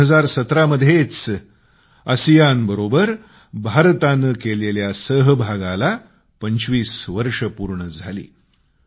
आणि 2017मध्येच आसियानबरोबर भारताने केलेल्या भागिदारीला 25 वर्षे पूर्ण झाली